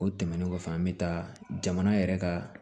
O tɛmɛnen kɔfɛ an bɛ taa jamana yɛrɛ ka